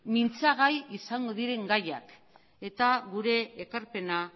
mintzagai izango diren gaiak eta gure ekarpena